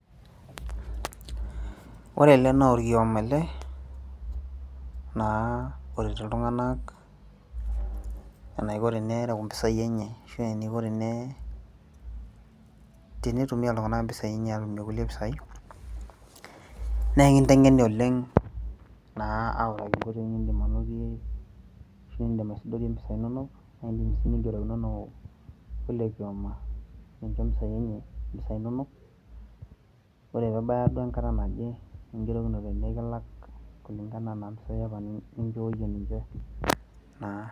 Ore ele naa orkioma ele naa oret iltung'anak enaiko tenereu impisai enye arashu eniko tenitumia iltung'anak impisai enye atumie kulie posai , neeku kakinteng'eni oleng' naa aaliki enkoitoi niindim anotie ashu indim aisdoriyie impisai inonok ninngerokinono oilo kioma nincho impisai inonok ore pee ebaya duo enkata naje ningerokinote nikilak kulingana enaa impisai apa ninjooyie ninche naa.